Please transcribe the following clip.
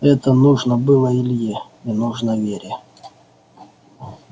это нужно было илье и нужно вере